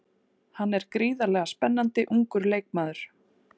Hann er gríðarlega spennandi ungur leikmaður.